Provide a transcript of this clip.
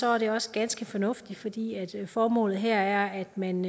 er det også ganske fornuftigt fordi formålet her er at man